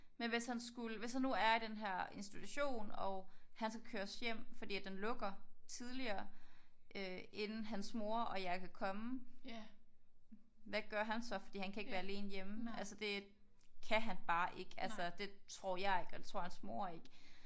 Men hvis han skulle hvis han nu er i den her institution og han skal køres hjem fordi at den lukker tidligere øh inden hans mor og jeg kan komme. Hvad gør han så? Fordi han kan ikke være alene hjemme. Altså det kan han bare ikke. Altså det tror jeg ikke og det tror hans mor ikke